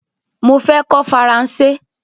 Mo fẹ́ kọ́ Faransé